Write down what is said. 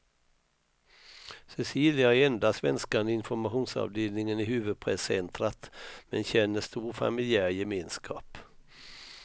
Cecilia är enda svenskan i informationsavdelningen i huvudpresscentrat, men känner stor familjär gemenskap.